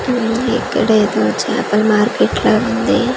ఉమ్ ఇక్కడ ఏదో చాపల మార్కెట్ లా ఉంది .